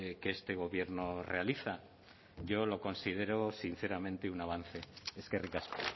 que este gobierno realiza yo lo considero sinceramente un avance eskerrik asko